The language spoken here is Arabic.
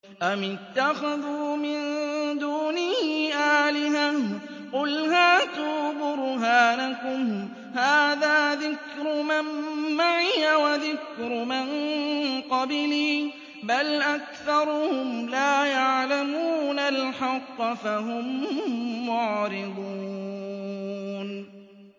أَمِ اتَّخَذُوا مِن دُونِهِ آلِهَةً ۖ قُلْ هَاتُوا بُرْهَانَكُمْ ۖ هَٰذَا ذِكْرُ مَن مَّعِيَ وَذِكْرُ مَن قَبْلِي ۗ بَلْ أَكْثَرُهُمْ لَا يَعْلَمُونَ الْحَقَّ ۖ فَهُم مُّعْرِضُونَ